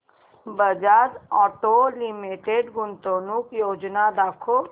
Bajaj auto limited गुंतवणूक योजना दाखव